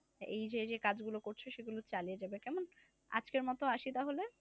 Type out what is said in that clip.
এই যে যে কাজ গুলো করছ সেগুলো চালিয়ে যাবে কেমন আজকের মত আসি তাহলে?